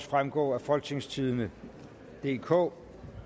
fremgå af folketingstidende DK